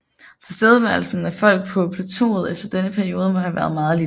Tilstedeværelsen af folk på plateauet efter denne periode må have været meget lille